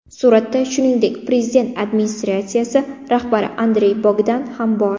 Suratda, shuningdek, Prezident administratsiyasi rahbari Andrey Bogdan ham bor.